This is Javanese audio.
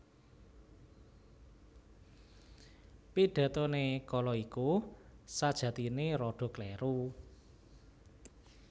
Pidatoné kala iku sajatiné rada kléru